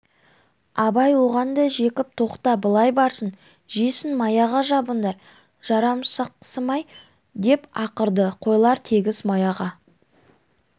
абай оған да зекіп тоқта былай барсын жесін маяға жабыңдар жарамсақсымай деп ақырды қойлар тегіс маяға